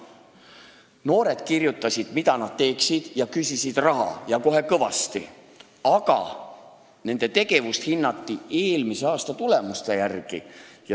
Noored kirjutasid, mida nad tahaksid teha, ja küsisid raha ja kohe kõvasti, aga nende tegevust hinnati eelmise aasta tulemuse järgi.